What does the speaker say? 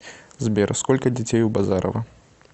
сбер сколько детей у базарова